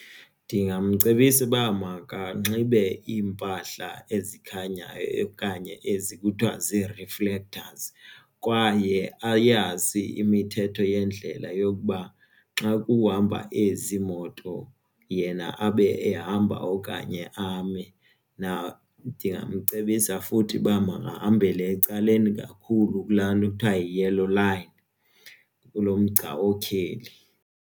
Ndingamcebisa uba makanxibe iimpahla ezikhanyayo okanye ezi kuthiwa zii-reflectors kwaye ayazi imithetho yendlela yokuba xa kuhamba ezi moto yena abe ehamba okanye ame. Ndingamcebisa futhi uba makahambele ecaleni kakhulu kula nto kuthiwa yi-yellow line, kulo mgca otyheli.